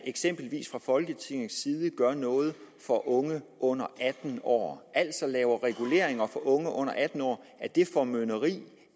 eksempelvis fra folketingets side gør noget for unge under atten år altså laver reguleringer for unge under atten år er det formynderi